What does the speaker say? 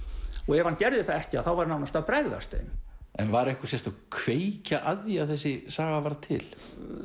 ef hann gerði það ekki þá væri hann nánast að bregðast þeim en var einhver sérstök kveikja að því að þessi saga varð til